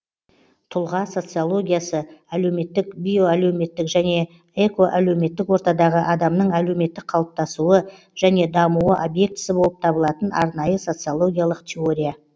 тұлға социологиясы әлеуметтік биоәлеуметтік және экоәлеуметтік ортадағы адамның әлеуметтік қалыптасуы және дамуы объектісі болып табылатын арнайы социологиялық теория